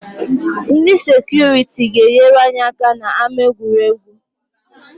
Ndị sekuriti ga-enyere anyị aka n’ama egwuregwu